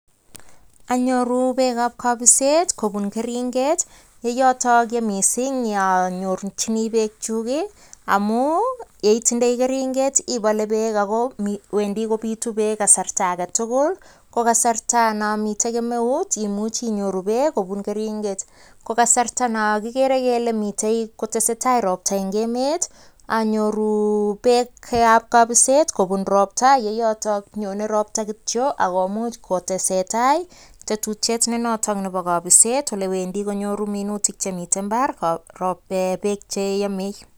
Anyoruuu peek ap kapiseet yeyotok missing anyorunee peeek kokasarta neagere aleee nyonee ropta koyacheee ataach peek sugopitt apaisheeen